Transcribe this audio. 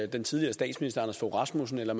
den tidligere statsminister anders fogh rasmussen eller